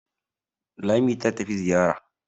Lami ta tafi Zariya.